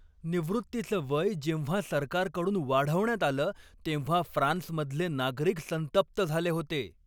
निवृत्तीचं वय जेव्हा सरकारकडून वाढवण्यात आलं तेव्हा फ्रान्समधले नागरिक संतप्त झाले होते.